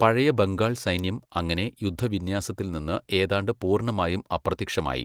പഴയ ബംഗാൾ സൈന്യം അങ്ങനെ യുദ്ധവിന്യാസത്തിൽ നിന്ന് ഏതാണ്ട് പൂർണ്ണമായും അപ്രത്യക്ഷമായി.